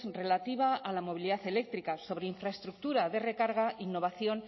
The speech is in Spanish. relativa a la movilidad eléctrica sobre infraestructura de recarga innovación